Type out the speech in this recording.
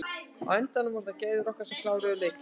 Á endanum voru það gæði okkar sem kláruðu leikinn.